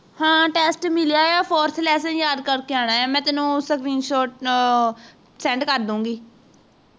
ਹਾਂ test ਮਿਲਿਆ ਹੈ fourth lesson ਯਾਦ ਕਰਕੇ ਆਣਾ ਹੈ ਮੈਂ ਤੈਨੂੰ screenshot send ਕਰ ਦੂੰਗੀ